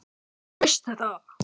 Þú veist þetta.